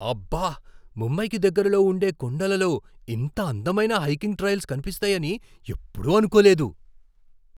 అబ్బా! ముంబైకి దగ్గరలో ఉండే కొండలలో ఇంత అందమైన హైకింగ్ ట్రైల్స్ కనిపిస్తాయని ఎప్పుడూ అనుకోలేదు.